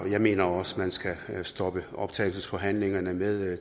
jeg mener også man skal stoppe optagelsesforhandlingerne med